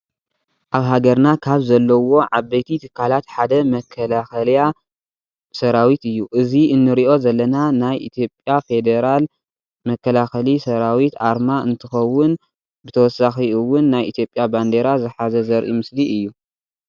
አብ ሃገርና ካብ ዘለዎ ዓበይቲ ትካላትሓደ መከላከሊያ ሰራዊት እዩ። እዚ እንሪኦ ዘለና ናይ ኢትዮጲያ ፊዴራል መከላከሊ ሰራዊት አርማ እንትኮውን ብተወሳኪ እውን ናይ ኢትዮጲያ ባንዴራ ዘሓዘ ዘሪኢ ምስሊ እዩ።